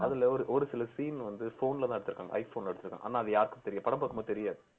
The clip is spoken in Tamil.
அதுல ஒரு சில scene வந்து phone ல தான் எடுத்துருக்காங்க iphone எடுத்துருக்காங்க ஆனா அது யாருக்கும் தெரியாது படம் பாக்கும்போது தெரியாது